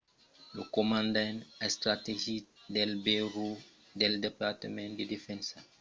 lo comandament estrategic del burèu del departament de defensa dels estats units es a ne pistar los brigalhs